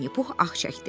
Vinni Pux ah çəkdi.